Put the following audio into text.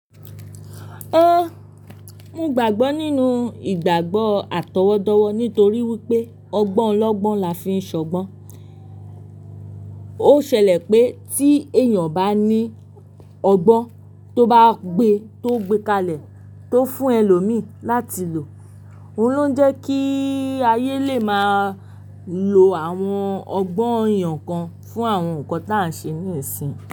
Mo gbàgbọ́ nínú ìgbàgbò àtọwọ́dọ̀wọ̀ nítorí wípé ọgbọ́n lọ́gbọ́n là fi ń ṣọgbọ́n. Ó ṣẹlẹ̀ pé tí èèyàn bá ní ọgbọ́n tó bá gbe tó gbé kalẹ̀ tó fún ẹlòmíì láti lò, òun ló ń jẹ́ kí ayé lè máa lo àwọn ọgbọ́n èèyàn kan fún àwọn nǹkan tí à ń ṣe ní ìsìn.